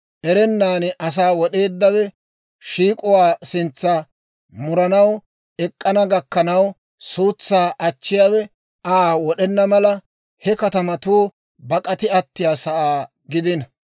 Erennan asaa wod'eeddawe shiik'uwaa sintsa muranaw ek'k'ana gakkanaw, suutsaa achchiyaawe Aa wod'ena mala, he katamatuu bak'ati attiyaasaa gidino.